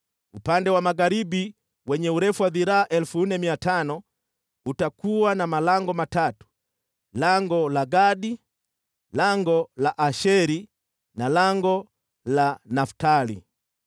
“Upande wa magharibi, wenye urefu wa dhiraa 4,500, utakuwa na malango matatu: lango la Gadi, lango la Asheri na lango la Naftali.